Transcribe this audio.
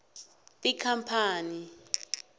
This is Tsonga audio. tikhampani